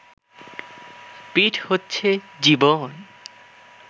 পিঠ হচ্ছে জীবন